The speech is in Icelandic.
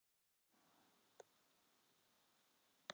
Hvar er líklegast að líkama brotaþola hafi verið komið fyrir í sjó?